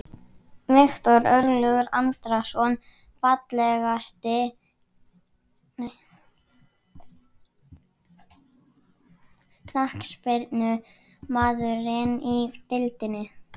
Viktor Örlygur Andrason Fallegasti knattspyrnumaðurinn í deildinni?